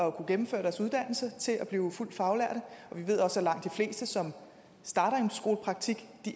at kunne gennemføre deres uddannelse til at blive fuldt faglærte vi ved også at langt de fleste som starter i en skolepraktik